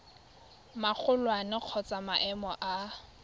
magolwane kgotsa wa maemo a